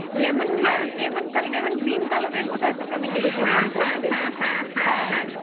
lemon ইয়ে, lemon কালা~, lemon green colour এর বোধ হয় তোকে আমি দেখেছিলাম পরতে, হ্যাঁ